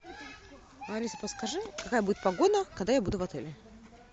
алиса подскажи какая будет погода когда я буду в отеле